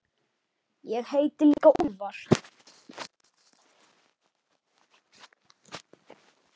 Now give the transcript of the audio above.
Ég heiti líka Úlfar.